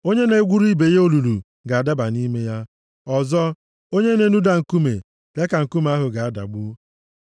Onye na-egwuru ibe ya olulu ga-adaba nʼime ya. Ọzọ, onye na-enuda nkume, ya ka nkume ahụ ga-adagbu.